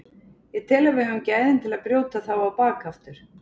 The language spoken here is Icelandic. Ég tel að við höfum gæðin til að brjóta þá á bak aftur.